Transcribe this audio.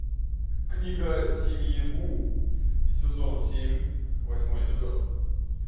книга семьи гу сезон семь восьмой эпизод